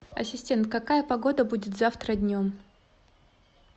ассистент какая погода будет завтра днем